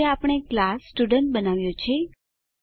આ રીતે આપણે ક્લાસ સ્ટુડન્ટ બનાવ્યો છે